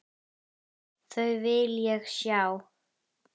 Þau vil ég sjá.